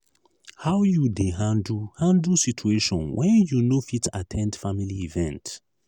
how you dey handle handle situation when you no fit at ten d family event?